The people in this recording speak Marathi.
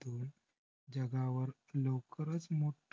जगावर लवकरच मोठं